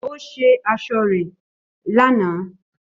Ó ṣe aṣọ rẹ̀ lánàá